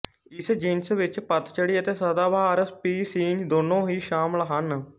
ਇਸ ਜਿਨਸ ਵਿੱਚ ਪਤਝੜੀ ਅਤੇ ਸਦਾਬਹਾਰ ਸਪੀਸੀਜ਼ ਦੋਨੋਂ ਹੀ ਸ਼ਾਮਲ ਹਨ